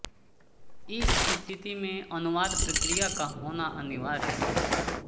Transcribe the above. इस स्थिति में अनुवाद प्रक्रिया का होना अनिवार्य है